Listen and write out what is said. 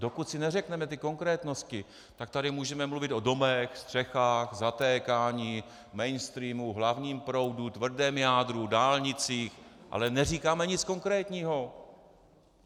Dokud si neřekneme ty konkrétnosti, tak tady můžeme mluvit o domech, střechách, zatékání, mainstreamu, hlavním proudu, tvrdém jádru, dálnicích, ale neříkáme nic konkrétního.